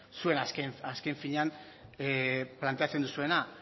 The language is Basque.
zuek azken finean planteatzen duzuena